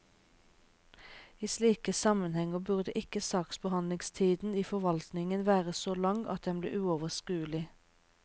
I slike sammenhenger burde ikke saksbehandlingstiden i forvaltningen være så lang at den blir uoverskuelig.